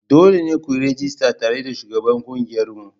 Dole ne ku yi rajista tare da shugaban ƙungiyarmu.